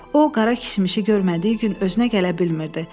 O, Qara kişmişi görmədiyi gün özünə gələ bilmirdi.